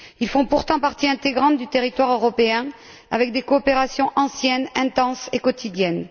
Ils font pourtant partie intégrante du territoire européen avec des coopérations anciennes, intenses et quotidiennes.